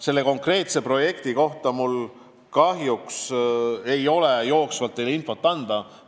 Selle konkreetse projekti kohta ma kahjuks ei saa jooksvalt infot anda.